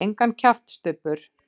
Engan kjaft, Stubbur.